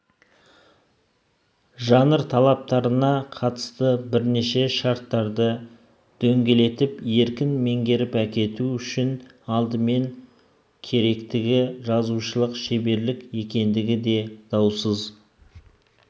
жанр талаптарына қатысты бірнеше шарттарды дөңгелетіп еркін меңгеріп әкету үшін алдымен керектігі жазушылық шеберлік екендігі де даусыз